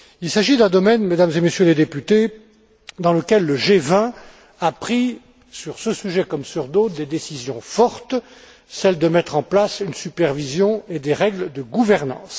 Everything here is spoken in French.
Il s'agit d'un domaine, Mesdames et Messieurs les députés, dans lequel le G20 a pris, comme sur d'autres sujets, des décisions fortes, en l'occurrence de mettre en place une supervision et des règles de gouvernance.